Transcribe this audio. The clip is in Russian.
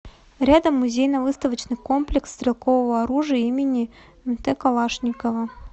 рядом музейно выставочный комплекс стрелкового оружия им мт калашникова